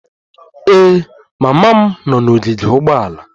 Ee, mama m nọ n'ogige ụgbọala